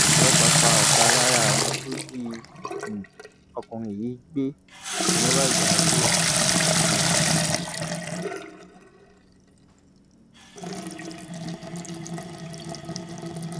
ọlọpàá pa ọkà lára àwọn tó jí um ọkùnrin yìí gbé ni wọn bá gbà á sílẹ um